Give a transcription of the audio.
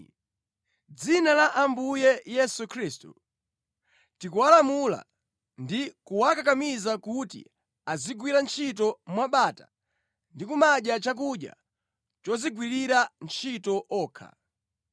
Mʼdzina la Ambuye Yesu Khristu, tikuwalamula ndi kuwakakamiza kuti azigwira ntchito mwabata ndi kumadya chakudya chodzigwirira ntchito okha.